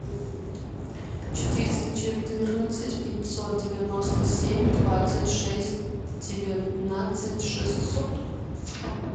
четыреста четырнадцать пятьсот девяносто семь двадцать шесть девятнадцать шестьсот